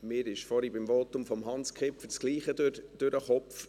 Mir ging vorhin beim Votum von Hans Kipfer das Gleiche durch den Kopf.